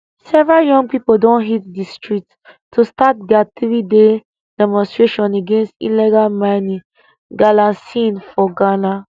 several young pipo don hit di streets to start dia threeday demonstration against illegal mining galamsey for ghana